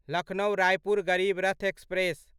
Lucknow Raipur Garib Rath express